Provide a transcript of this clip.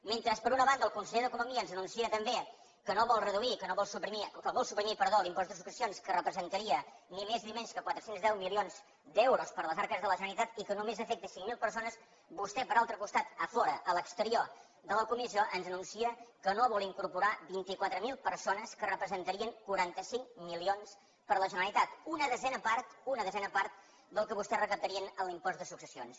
mentre per una banda el conseller d’economia ens anuncia també que no vol reduir que vol suprimir l’impost de successions que representaria ni més ni menys que quatre cents i deu milions d’euros per a les arques de la generalitat i que només afecta cinc mil persones vostè per altre costat a fora a l’exterior de la comissió ens anuncia que no vol incorporar vint quatre mil persones que representarien quaranta cinc milions per la generalitat una desena part una desena part del que vostè recaptaria amb l’impost de successions